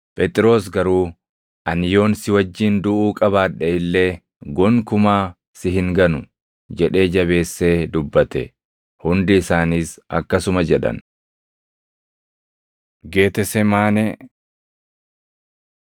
Phexros garuu, “Ani yoon si wajjin duʼuu qabaadhe illee gonkumaa si hin ganu” jedhee jabeessee dubbate. Hundi isaaniis akkasuma jedhan. Geetesemaanee 14:32‑42 kwf – Mat 26:36‑46; Luq 22:40‑46